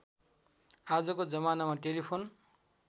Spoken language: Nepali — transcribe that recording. आजको जमानामा टेलिफोन